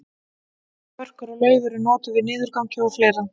börkur og lauf eru notuð við niðurgangi og fleira